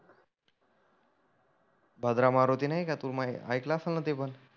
भाद्रा मारुती नाही का तु मा ऐकलं असनं ना ते पण.